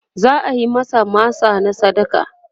za'ayi masa masa na sadaka